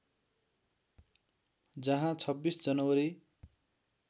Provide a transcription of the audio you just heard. जहाँ २६ जनवरी